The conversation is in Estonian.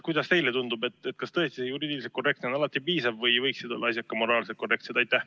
Kuidas teile tundub, kas tõesti see juriidiliselt korrektne on alati piisav või võiksid olla asjad ka moraalselt korrektsed?